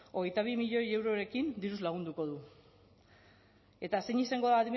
hogeita bi milioi eurorekin diruz lagunduko du eta zein izango da adimen